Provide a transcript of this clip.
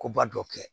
Koba dɔ kɛ